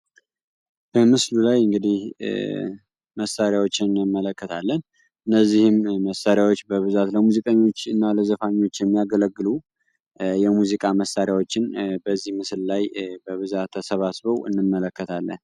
ተመስሉ ላይ እንግዲ መሳሪያዎችን እንመለከታለን እነዚህ እነዚህ መሳሪያዎች ለሙዚቀኞችና ለዘፋኞች የሚያገለግሉ የሙዚቃ መሳሪያዎችን በዚህ ምስል ላይ በብዛተ ተሰባስቦ እንመለከታለን።